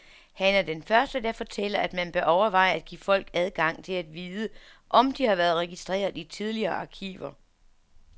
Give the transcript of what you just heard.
Han er den første der fortæller, at man bør overveje at give folk adgang til at vide, om de har været registreret i tidligere arkiver.